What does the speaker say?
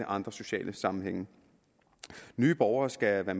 andre sociale sammenhænge nye borgere skal